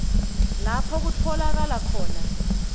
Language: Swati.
lapho kutfolakala khona